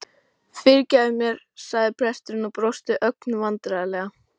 Fyrirgefðu mér sagði presturinn og brosti ögn vandræðalega.